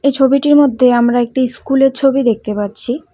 এই ছবিটির মধ্যে আমরা একটি ইস্কুল -এর ছবি দেখতে পাচ্ছি।